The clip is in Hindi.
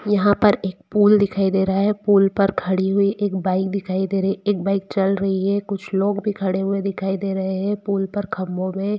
यहाँ पर एक पुल दिखाई दे रहा है पुल पर खड़ी हुई एक बाइक दिखाई दे रही है एक बाइक चल रही है कुछ लोग भी खड़े हुए दिखाई दे रहै है पुल पर खम्बों में--